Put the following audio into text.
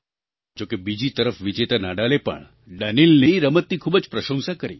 જોકે બીજી તરફ વિજેતા નાડાલે પણ Daniilની રમતની ખૂબ જ પ્રશંસા કરી